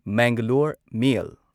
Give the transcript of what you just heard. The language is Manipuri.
ꯃꯦꯡꯒꯂꯣꯔ ꯃꯦꯜ